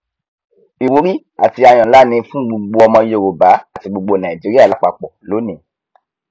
ìwúrí àti àyọ nlá ni fún gbogbo ọmọ yorùbá àti gbogbo nàìjíríà lápapọ lónìí